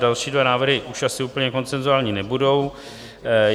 Další dva návrhy už asi úplně konsenzuální nebudou.